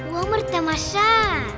өмір тамаша